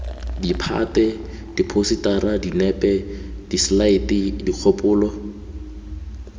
ditphate diphousetara dinepe diselaete dikgopolo